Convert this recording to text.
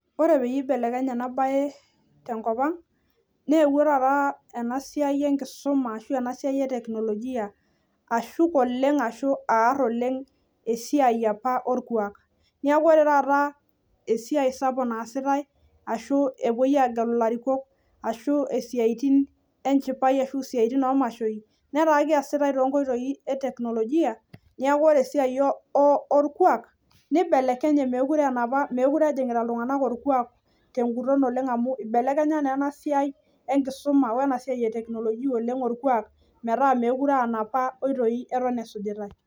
ore peyiee eibelekenye ena bae tenkop ang naa eewuo esai e technologia aar esai olkuak amu etaa keesiate isaitin naijo kiama tenebo orkulie siruai tenkoitoi e technologia neeku eyawua ina enkibelekenyeta naleng